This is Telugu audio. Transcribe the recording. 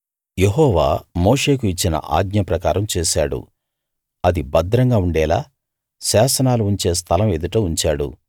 యెహోవా మోషేకు ఇచ్చిన ఆజ్ఞ ప్రకారం చేశాడు ఆది భద్రంగా ఉండేలా శాసనాలు ఉంచే స్థలం ఎదుట ఉంచాడు